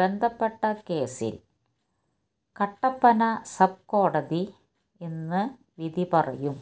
ബന്ധപ്പെട്ട കേസിൽ കട്ടപ്പന സബ് കോടതി ഇന്ന് വിധി പറയും